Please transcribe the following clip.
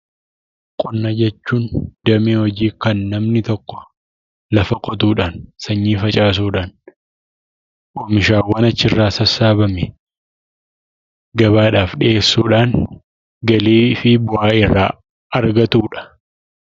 Qonna jechuun damee hojii kan namni tokko lafa qotuudhaan, sanyii facaasudhaan, oomishaawwan achirraa sassaabame gabaadhaaf dhiyeessuudhaan galii fi bu'aa irraa argatuudha.